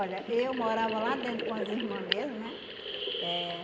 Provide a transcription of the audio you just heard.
eu morava lá dentro com as irmã mesmo, né? Eh